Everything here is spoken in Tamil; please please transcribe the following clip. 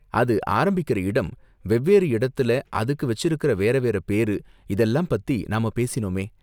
அது ஆரம்பிக்குற இடம், வெவ்வேறு இடத்துல அதுக்கு வெச்சிருக்குற வேற வேற பேரு, இதெல்லாம் பத்தி நாம பேசினோமே?